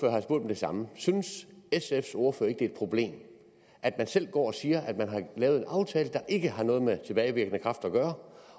samme synes sfs ordfører ikke et problem at man selv går og siger at man har lavet en aftale der ikke har noget med tilbagevirkende kraft at gøre